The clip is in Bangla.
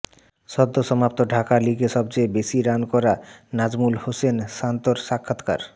সদ্যসমাপ্ত ঢাকা লিগে সবচেয়ে বেশি রান করা নাজমুল হোসেন শান্তর সাক্ষাৎকার